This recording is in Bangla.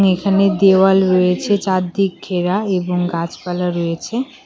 এখানে দেয়াল রয়েছে চার দিক ঘেরা এবং গাছপালা রয়েছে।